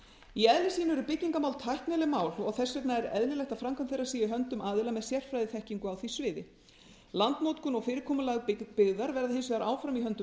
í eðli sínu eru byggingarmál tæknileg mál þess vegna er eðlilegt að framkvæmdir þeirra séu í höndum aðila með sérfræðiþekkingu á því sviði landnotkun og fyrirkomulag byggðar verða hins vegar áfram í höndum